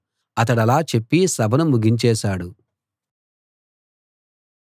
అతడలా చెప్పి సభను ముగించేశాడు